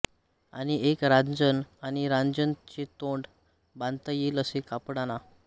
आणि एक रांजण आणि रांजण चे तोंड बांधता येईल असे कापड आणा